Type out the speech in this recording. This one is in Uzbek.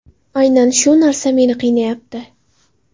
Aynan shu narsa meni qiynayapti.